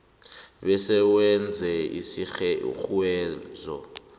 bese wenza isirhunyezo